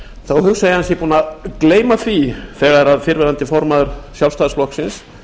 þá hugsa ég að hann sé búinn að gleyma því þegar fyrrverandi formaður sjálfstæðisflokksins